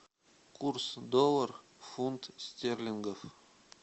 курс доллар фунт стерлингов